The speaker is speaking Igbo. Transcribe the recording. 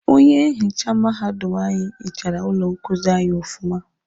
Onye nhicha mahadum anyi hichara ụlọ nkuzi anyị ọfụma.